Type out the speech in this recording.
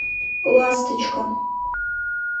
ласточка